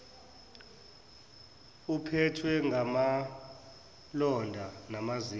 uphethwe ngamalonda namazinyo